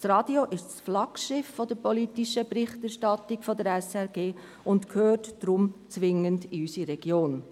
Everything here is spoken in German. Das Radio ist das Flaggschiff der politischen Berichterstattung der SRG und gehört deshalb zwingend in unsere Region.